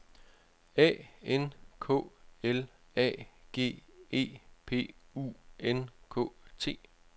A N K L A G E P U N K T